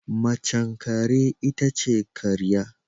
Mace kare itace karya